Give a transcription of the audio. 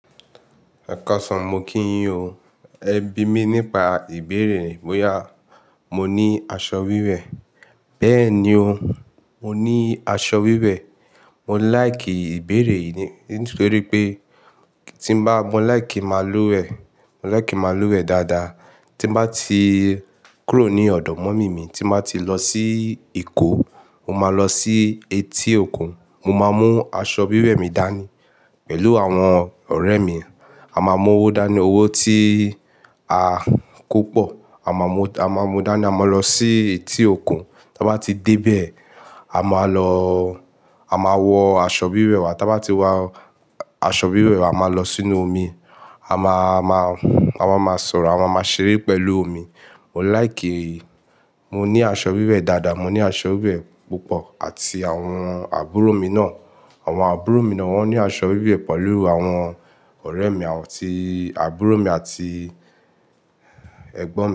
Ẹ̀kasan mo kí ń yín o, ẹ bí mi nípa ìbéèrè bóyá mo ní aṣọ wíwẹ̀. Bẹ́ẹ̀ni o, mo ní aṣọ wíwẹ̀. Mo láìkì ìbéèrè yìí nítorí pé tí bá, mo láìkì n máa lúwẹ̀ẹ́, mo láìkì n máa lúwẹ̀ẹ́ dáadáa. Tí n bá ti kúrò ní ọ̀dọ̀ mọ́mì mi, tí n bá ti lọ sí Èkó, mo máa lọ sí etí òkun. Mo máa mú aṣọ wíwẹ̀ mi dání pẹ̀lú àwọn ọ̀rẹ́ mi. A máa mú owó dání, owó tí a kó pọ̀. A máa mú, a máa mú dání, a máa lọ sí etí òkun. Ta bá ti dé bẹ̀, a máa lọ, a máa wọ aṣọ wíwẹ̀ wa. Ta bá ti wa aṣọ wíwẹ̀ wa, a máa lọ sínú omi. A máa, máa, a máa máa sọ̀rọ̀, a máa máa ṣeré pẹ̀lú omi. Mo láìkì, mo ní aṣọ wíwẹ̀ dáadáa, mo ní aṣọ wíwẹ̀ púpọ̀ àti àwọn àbúrò mi náà. Àwọn àbúrò mi náà wón ní aṣọ wíwẹ̀ pẹ̀lú àwọn ọ̀rẹ́ mi àti àbúrò mi àti ẹ̀gbọ́n mi.